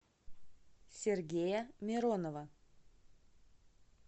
сергея миронова